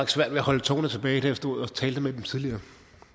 svært ved at holde tårerne tilbage da jeg stod og talte med dem tidligere